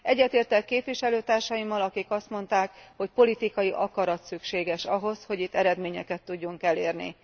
Egyetértek képviselőtársaimmal, akik azt mondták, hogy politikai akarat szükséges ahhoz, hogy itt eredményeket tudjunk elérni.